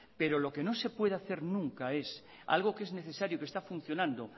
pero lo que no se puede hacer nunca es algo que es necesario y que está funcionando